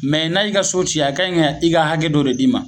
Mɛ n'a y'i ka so ci a kanɲi ka i ka hakɛ dɔ de d'i ma